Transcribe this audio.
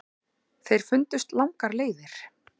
Þeir fundust langar leiðir.